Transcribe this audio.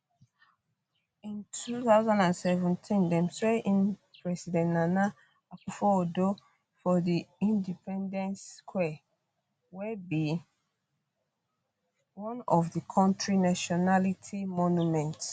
in 2017 dem swear in president nana akufoaddo for di di independence square wey be one of di kontri nationality monument